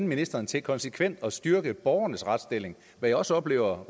ministeren til konsekvent at styrke borgernes retsstilling hvad jeg også oplever